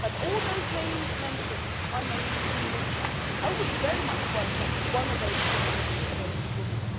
be. But all those names mentioned are named in the media. I would very much welcome if one of those top jobs could go to a woman.